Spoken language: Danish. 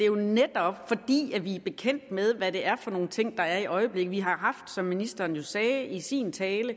jo netop fordi vi er bekendt med hvad det er for nogle ting der er i øjeblikket vi har som ministeren jo sagde i sin tale